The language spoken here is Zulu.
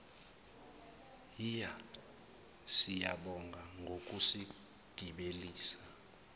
hhiya siyabonga ngokusigibelisa